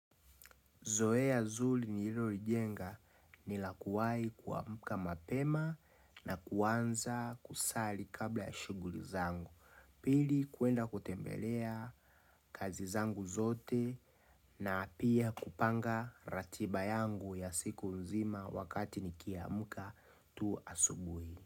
Zoea zuli ni hilo lijenga nilakuwai kuamuka mapema na kuanza kusali kabla ya shuguli zangu. Pili kuenda kutembelea kazi zangu zote na pia kupanga ratiba yangu ya siku nzima wakati nikiamuka tu asubui.